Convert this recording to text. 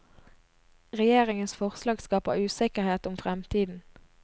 Regjeringens forslag skaper usikkerhet om fremtiden.